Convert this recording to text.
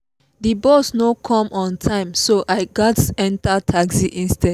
the bus no come on time so i gats enter taxi instead